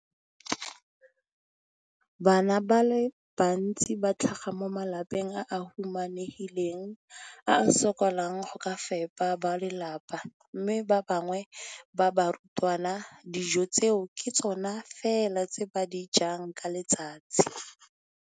Bana ba le bantsi ba tlhaga mo malapeng a a humanegileng a a sokolang go ka fepa ba lelapa mme ba bangwe ba barutwana, dijo tseo ke tsona fela tse ba di jang ka letsatsi.